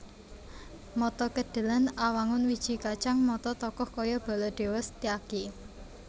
Mata Kedhelèn Awangun wiji kacang mata tokoh kaya Baladéwa Setyaki